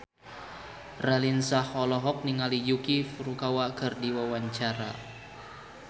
Raline Shah olohok ningali Yuki Furukawa keur diwawancara